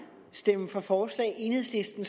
stemme for forslag enhedslisten